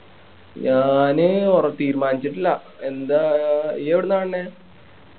ഞാന് ആഹ് ഒറ തീരുമാനിച്ചിട്ടില്ല എന്താ ആഹ് ഇയ്യ്‌ എവിടുന്നാ കാണണ്‌